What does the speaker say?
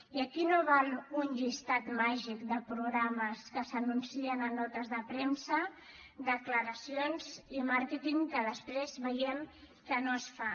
i aquí no val un llistat màgic de programes que s’anuncien en notes de premsa declaracions i màrqueting que després veiem que no es fa